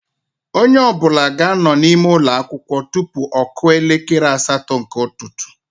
Onye ọbụla ga-anọ n'ime ụlọ akwụkwọ tụpụ ọ kụọ elekere asatọ nke ụtụtụ